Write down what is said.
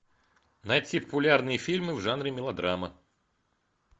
найти популярные фильмы в жанре мелодрама